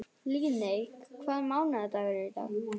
Líneik, hvaða mánaðardagur er í dag?